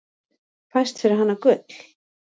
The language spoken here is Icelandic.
Fæst fyrir hana gull.